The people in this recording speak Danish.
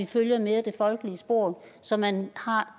følger det folkelige spor så man har